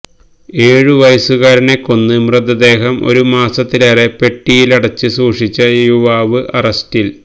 ഏഴു വയസ്സുകാരനെ കൊന്ന് മൃതദേഹം ഒരു മാസത്തിലേറെ പെട്ടിയിലടച്ച് സൂക്ഷിച്ച യുവാവ് അറസ്റ്റില്